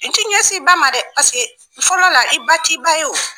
I t'i ɲɛsin i ba ma dɛ paseke fɔlɔ la, i ba t'i ba ye o!